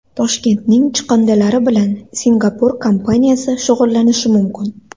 Toshkentning chiqindilari bilan Singapur kompaniyasi shug‘ullanishi mumkin .